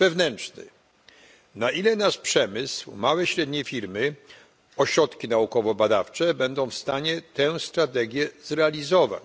Wewnętrzny na ile nasz przemysł, małe i średnie firmy, ośrodki naukowo badawcze będą w stanie tę strategię zrealizować.